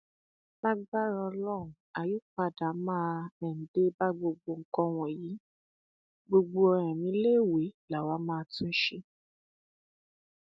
lagbára ọlọrun àyípadà máa um dé bá gbogbo nǹkan wọnyí gbogbo um iléèwé làwa máa tún ṣe